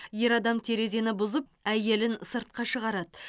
ер адам терезені бұзып әйелін сыртқа шығарады